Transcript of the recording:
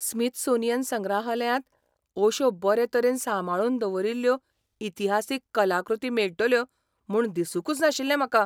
Smithsonian संग्रहालयांत अश्यो बरे तरेन सांबाळून दवरिल्ल्यो इतिहासीक कलाकृती मेळटल्यो म्हूण दिसूंकच नाशिल्लें म्हाका.